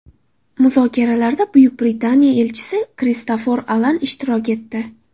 Muzokaralarda Buyuk Britaniya elchisi Kristofer Alan ishtirok etdi.